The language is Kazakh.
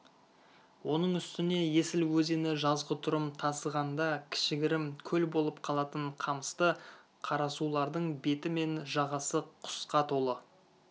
оның үстіне есіл өзені жазғытұрым тасығанда кішігірім көл болып қалатын қамысты қарасулардың беті мен жағасы құсқа толы